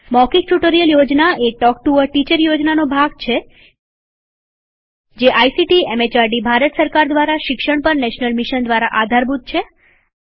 મૌખિક ટ્યુટોરીયલ યોજના a talk to a teacher યોજનાનો ભાગ છે જે આઇસીટીએમએચઆરડીભારત સરકાર દ્વારા શિક્ષણ પર નેશનલ મિશન દ્વારા આધારભૂત છે